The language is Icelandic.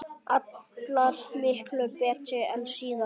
Allar miklu betri en síðast!